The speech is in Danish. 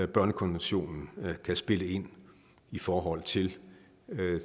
børnekonventionen kan spille ind i forhold til